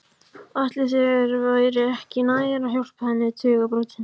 Ætli þér væri ekki nær að hjálpa henni við tugabrotin?